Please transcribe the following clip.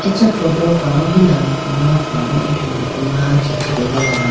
acha photo pawu hilamuku ma pawu athomuku ma khichitegala.